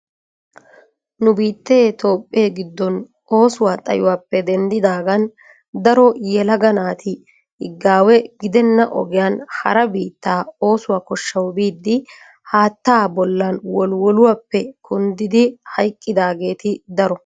Nu biittee toophee giddon oosuwa xayyuwappe denddidaagan daro yelaga naati higawe giddena ogiyan hara biittaa oosuwa koshshaw biidi haatta bollan wolliwolluwappe kunddidi hayqqiyaageeti daro.